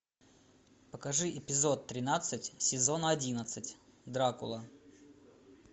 покажи эпизод тринадцать сезона одиннадцать дракула